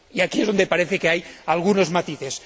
Y aquí es donde parece que hay algunos matices.